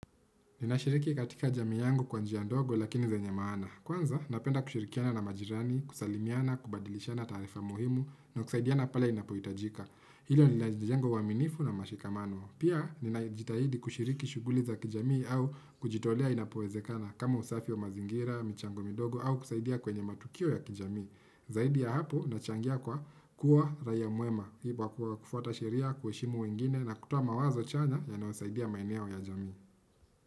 Ninashiriki katika jami yangu kwa njia ndogo lakini zenye maana. Kwanza napenda kushirikiana na majirani, kusalimiana, kubadilishana tarifa muhimu na kusaidiana pale inapoitajika. Hilo linajenga uwaminifu na mshikamano. Pia ninajitahidi kushiriki shughuli za kijami au kujitolea inapowezekana kama usafi wa mazingira, michango midogo au kusaidia kwenye matukio ya kijami. Zaidi ya hapo nachangia kwa kuwa raiya mwema, hibwa kuwa kufuata shiria, kwe shimu wengine na kutuwa mawazo chanya ya naosaidia maine au ya jami.